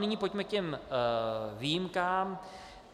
Nyní pojďme k těm výjimkám.